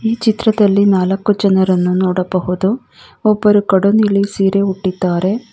ಈ ಚಿತ್ರದಲ್ಲಿ ನಾಲಕ್ಕು ಜನರನ್ನ ನೋಡಬಹುದು ಒಬ್ಬರು ಕಡು ನೀಲಿ ಸೀರೆಯನ್ನ ಉಟ್ಟಿದಾರೆ.